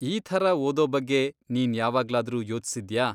ಈ ಥರ ಓದೋ ಬಗ್ಗೆ ನೀನ್ ಯಾವಾಗ್ಲಾದ್ರೂ ಯೋಚ್ಸಿದ್ಯಾ?